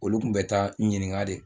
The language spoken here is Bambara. Olu tun bɛ taa ɲininka de